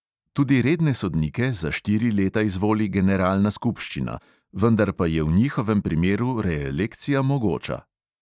Tudi redne sodnike za štiri leta izvoli generalna skupščina, vendar pa je v njihovem primeru reelekcija mogoča.